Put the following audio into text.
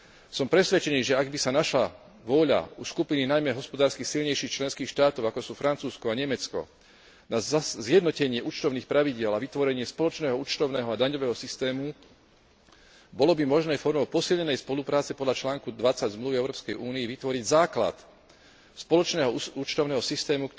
Som presvedčený, že ak by sa našla vôľa skupiny najmä hospodársky silnejších členských štátov ako sú Francúzsko a Nemecko na zjednotenie účtovných pravidiel a vytvorenie spoločného účtovného a daňového systému, bolo by možné formou posilnenej spolupráce podľa článku 20 Zmluvy o Európskej únii vytvoriť základ spoločného účtovného systému,